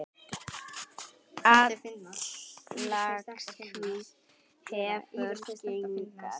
Atlaga hvíts hefur geigað.